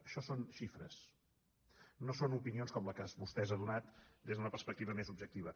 això són xifres no són opinions com la que vostè ens ha donat des d’una perspectiva més objectiva